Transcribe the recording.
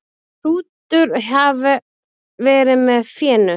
Hrútur hafi verið með fénu.